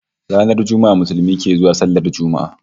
Ranar Juma'a Musulmi ke zuwa sallar Juma'a